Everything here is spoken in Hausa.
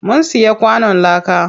Mun siya kwanon láka.